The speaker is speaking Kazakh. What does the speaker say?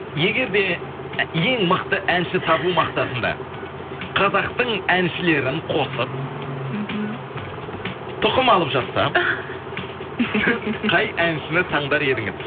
егер де ең мықты әнші табу мақсатында қазақтың әншілерін қосып мхм тұқым алып жатса сіз қай әншіні таңдар едіңіз